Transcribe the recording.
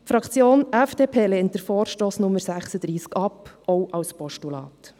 Die Fraktion FDP lehnt den Vorstoss zu Traktandum Nummer 36 ab, auch als Postulat.